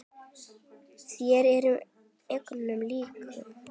Þér eruð engum lík!